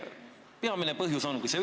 Mis see peamine põhjus on?